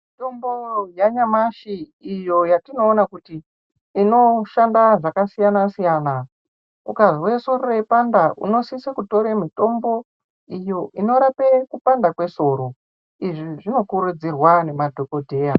Mitombo yanyamashi iyo yatinoona kuti inoshanda zvakasiyana siyana ukanzwa musoro weipanda unosisa kutora mutombo unorape Kupandaa kwesoro izvi zvinokurudzirwa nemadhokodheya.